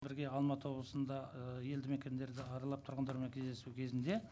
бірге алматы облысында ыыы елді мекендерді аралап тұрғындармен кездесу кезінде